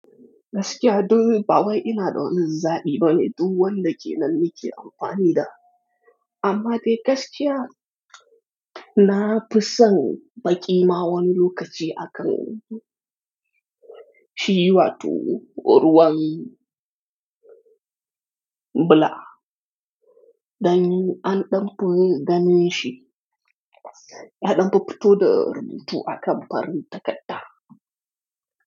Gaskiya duk ba wai ina ɗa zaɓi ba ne duk wanda ke nan nake amfani da, amma dai gaskiya na fi son baƙi ma wani lokaci akan Shi wato ruwan bula. Dan an ɗan fi ganin shi, ya ɗan fi fito da rubutu akan farin takadda.